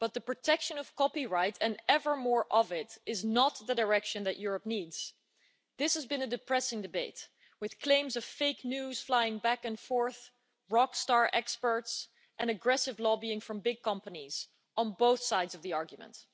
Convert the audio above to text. But the protection of copyright, and ever more of it, is not the direction that Europe needs. This has been a depressing debate with claims of fake news flying back and forth, rock star experts and aggressive lobbying from big companies, on both sides of the argument.